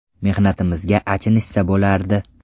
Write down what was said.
Mehnatimizga achinishsa bo‘lardi.